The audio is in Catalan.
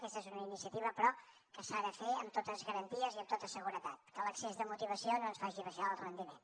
aquesta és una iniciativa però que s’ha de fer amb totes garanties i amb tota seguretat que l’excés de motivació no ens faci baixar el rendiment